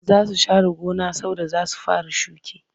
Za su share gona saboda za su fara shuka